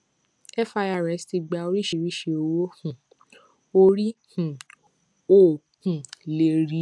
firs ti gbà orísìírísìí owó um orí um o um lè rí